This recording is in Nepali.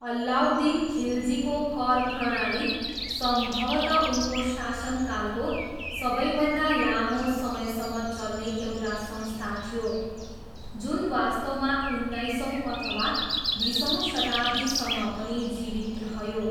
अलाउद्दिन खिलजीको कर प्रणाली सम्भवतः उनको शासनकालको सबैभन्दा लामो समयसम्म चल्ने एउटा संस्था थियो, जुन वास्तवमा उनाइसौँ अथवा बिसौँ शताब्दीसम्म पनि जीवित रह्यो।